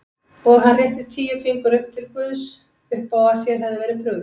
Og hann rétti tíu fingur upp til guðs uppá að sér hefði verið brugðið.